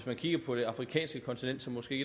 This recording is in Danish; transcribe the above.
man kigger på det afrikanske kontinent som måske